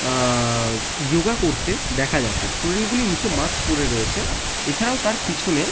আ-আ-আ-আ ইয়গা করতে দেখা যাচ্ছে। স্টুডেন্ট -গুলি মুখে মাক্স পরে রয়েছে এছাড়াও তার পিছনে--